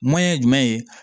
ye jumɛn ye